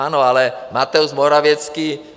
Ano, ale Mateusz Morawiecki...